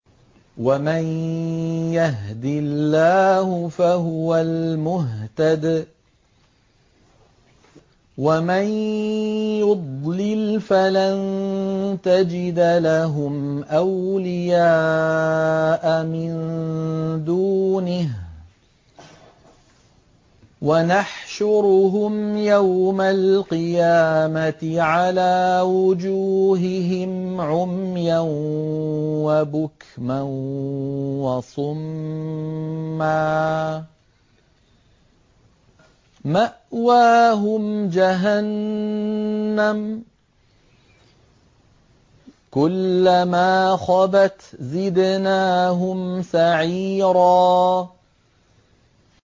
وَمَن يَهْدِ اللَّهُ فَهُوَ الْمُهْتَدِ ۖ وَمَن يُضْلِلْ فَلَن تَجِدَ لَهُمْ أَوْلِيَاءَ مِن دُونِهِ ۖ وَنَحْشُرُهُمْ يَوْمَ الْقِيَامَةِ عَلَىٰ وُجُوهِهِمْ عُمْيًا وَبُكْمًا وَصُمًّا ۖ مَّأْوَاهُمْ جَهَنَّمُ ۖ كُلَّمَا خَبَتْ زِدْنَاهُمْ سَعِيرًا